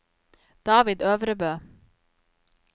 David Øvrebø